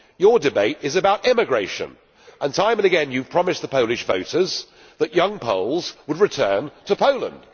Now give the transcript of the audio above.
Your debate is about immigration, and time and again, you have promised the Polish voters that young Poles would return to Poland.